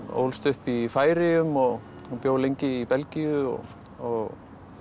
ólst upp í Færeyjum og bjó lengi í Belgíu og og